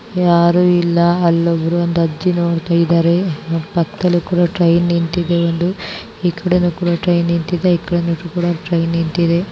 ಯಾರು ಇಲ್ಲ ಅಲ್ಲೊಬ್ರು ಒಂದ ಅಜ್ಜಿ ನೋಡತ್ತಾ ಇದಾರೆ ಪಕ್ಕದಲ್ಲಿ ಟೈಂ ನಿಂತಿದೆ ಈ ಕಡೆನೂ ಟ್ರೈನ್ ನಿಂತಿದೆ ಆ ಕಡೆನೂ ಟ್ರೈನ್ ನಿಂತಿದೆ.